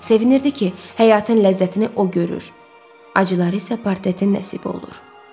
Sevinirdi ki, həyatın ləzzətini o görür, acıları isə portretin nəsib olur.